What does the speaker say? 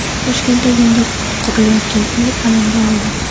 Toshkentda yangi qurilayotgan uy alanga oldi .